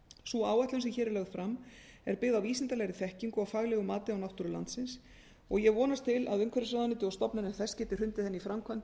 sú áætlun sem hér er lögð fram er byggð á vísindalegri þekkingu og faglegu mati á náttúru landsins og ég vonast til að umhverfisráðuneytið og stofnanir þess geti hrundið henni í framkvæmd